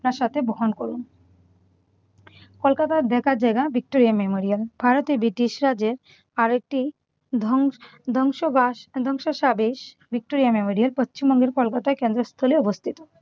আপনার সাথে বহন করুন। কলকাতায় দেখার জায়গা ভিক্টোরিয়া মেমোরিয়াল। ভারতে ব্রিটিশরা যে আরো একটি ধ্বং ধ্বংসবাস ধবংসসাবেশ ভিক্টোরিয়া মেমোরিয়াল পশ্চিমবঙ্গের কলকাতায় কেন্দ্রস্থলে অবস্থিত।